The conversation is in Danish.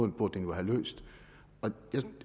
den jo have løst jeg